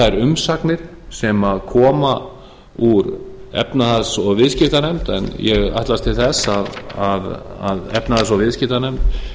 þær umsagnir sem koma úr efnahags og viðskiptanefnd en ég ætlast til þess að efnahags og viðskiptanefnd